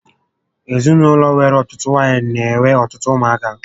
Ezinaụlọ nwere ọtụtụ nwaanyị n'enwe ọtụtụ ụmụ aka